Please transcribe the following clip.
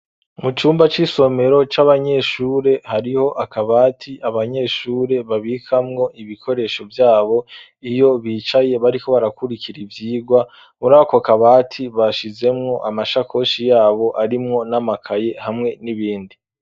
Mu cumba c'isomero c'abanyeshure hariho akabati abanyeshure babikamwo ibikoresho vyabo, iyo bicaye bariko barakurikira ivyigwa, muri ako kabati bashizemwo amashakoshi yabo arimwo n'amakaye hamwe n'ibindi.